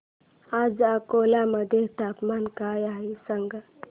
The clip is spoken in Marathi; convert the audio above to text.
आज अकोला मध्ये तापमान काय आहे सांगा